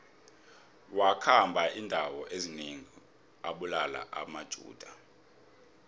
wakhamba indawo ezinengi abulala amajuda